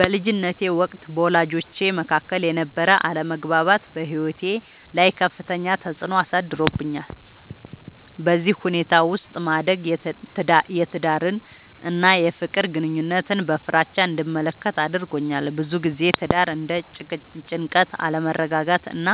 በልጅነቴ ወቅት በወላጆቼ መካከል የነበረ አለመግባባት በሕይወቴ ላይ ከፍተኛ ተፅዕኖ አሳድሮብኛል። በዚህ ሁኔታ ውስጥ ማደግ የትዳርን እና የፍቅር ግንኙነትን በፍራቻ እንድመለከት አድርጎኛል። ብዙ ጊዜ ትዳር እንደ ጭንቀት፣ አለመረጋጋት እና